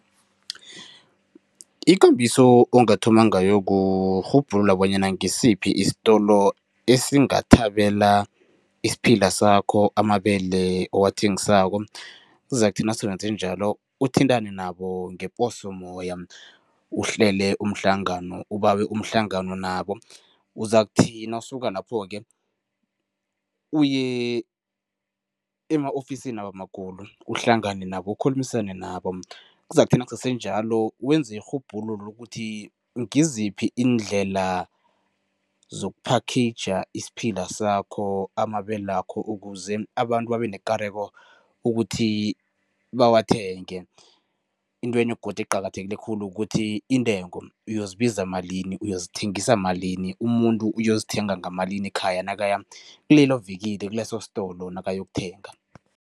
Ikambiso ongathoma ngayo kurhubhulula bonyana ngisiphi isitolo esingathabela isiphila sakho, amabele owathengisako. Kuzakuthi nase wenze njalo, uthintane nabo ngeposomoya, uhlele umhlangano, ubawe umhlangano nabo. Uzakuthi nawusuka lapho-ke, uye ema-ofisinabo amakhulu uhlangane nabo, ukhulumisane nabo. Kuzakuthi nakusese njalo wenze irhubhululo lokuthi ngiziphi iindlela zoku-package isiphila sakho, amabelakho ukuze abantu babe nekareko ukuthi bawathenge. Intwenye godu eqakathekile khulu kuthi intengo, uyozibiza malini, uyozithengisa malini, umuntu uyozithenga ngamalini ekhaya nakaya kulelo vikili, kuleso sitolo nakayokuthenga.